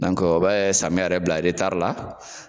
o bɛ samiyɛ yɛrɛ bila la.